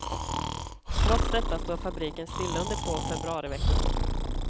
Trots detta står fabriken stilla under två februariveckor.